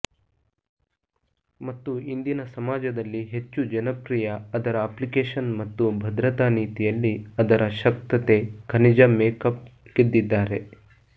ಮತ್ತು ಇಂದಿನ ಸಮಾಜದಲ್ಲಿ ಹೆಚ್ಚು ಜನಪ್ರಿಯ ಅದರ ಅಪ್ಲಿಕೇಶನ್ ಮತ್ತು ಭದ್ರತಾ ನೀತಿಯಲ್ಲಿ ಅದರ ಶಕ್ತತೆ ಖನಿಜ ಮೇಕ್ಅಪ್ ಗೆದ್ದಿದ್ದಾರೆ